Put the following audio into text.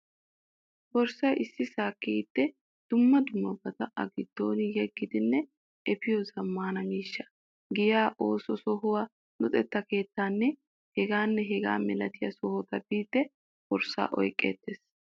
Borssay issisaa kiyiiddi dumma dummabata a giddo yeggidinne efiyo zammaana miishsha. Giyaa, ooso sohuwaa, luxetta keettaanne hegaanne hegaa milatiya sohota biiddi borssaa oyqqeettees.